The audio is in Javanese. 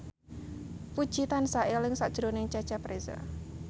Puji tansah eling sakjroning Cecep Reza